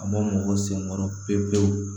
A ma mɔgɔ senkɔrɔ pewu pewu